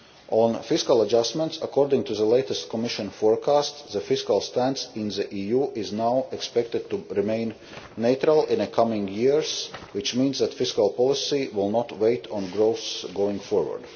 On fiscal adjustments, according to the latest Commission forecast, the fiscal stance in the EU is now expected to remain neutral in the coming years, which means that fiscal policy will not wait on growth going forward.